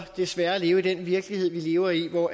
desværre leve i den virkelighed vi lever i hvor